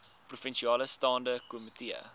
provinsiale staande komitee